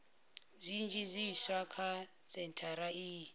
zwinzhi zwiswa kha sentshari iyi